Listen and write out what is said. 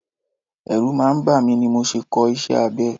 Ẹrù máa ń bàmí ni mi ò ṣe kọ́ iṣẹ́ abẹ.